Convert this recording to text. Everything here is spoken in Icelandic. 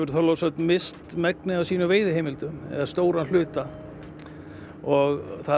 Þorlákshöfn misst megnið af sínum veiðiheimildum eða stóran hluta og það